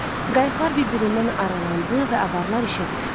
Qayıqlar bir-birindən aralandı və avaralar işə düşdü.